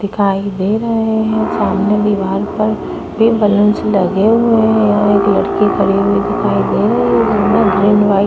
दिखाई दे रहे हैं सामने दीवार पर भी बलून्स लगे हुए हैं और एक लड़की खड़ी हुई दिखाई दे रही है --